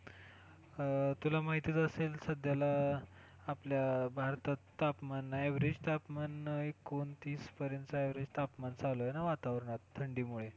हा तुला माहीतच असेल सध्याला, आपल्या भारतात तापमान average तापमान एकोणतीस पर्यंत average तापमान चालू आहे ना वातावरणात, थंडीमुळे